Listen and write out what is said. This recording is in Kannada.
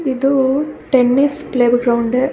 ಇದು ಟೆನ್ನಿಸ್ ಪ್ಲೇ ಗ್ರೌಂಡ್ .